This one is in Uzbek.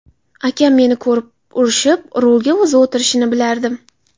Akam meni ko‘rib urishib, rulga o‘zi o‘tirishini bilardim.